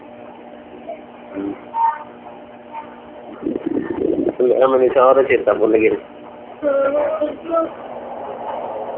ਹਮ ਮੈਨੂੰ ਚਾਅ ਦਾ ਚੇਤਾ ਭੁੱਲ ਗਿਆ